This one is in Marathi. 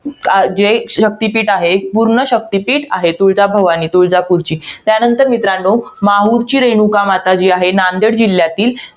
जे एक शक्तिपीठ आहे. एक पूर्ण शक्तीपीठ आहे. तुळजाभवानी, तुळजापूरची. त्यानंतर मित्रांनो, माहुरची रेणुकामाता जी आहे, नांदेड जिल्ह्यातील.